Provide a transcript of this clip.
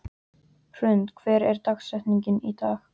Hrund, hver er dagsetningin í dag?